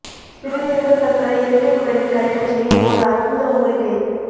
சிறுநீரக கற்களை இயற்கை முறையில் கரைக்கச் செய்யும் ஓர் அற்புத மூலிகை